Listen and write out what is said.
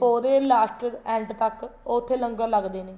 ਪੋਹ ਦੇ last end ਤੱਕ ਉੱਥੇ ਲੰਗਰ ਲੱਗਦੇ ਨੇ